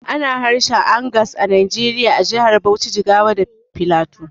Ana harshen Angas a Najeriya a jahar Bauchi, Jigawa da Filato